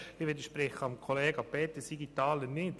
Ich widerspreche Herrn Kollega Peter Siegenthaler nicht.